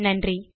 நன்றி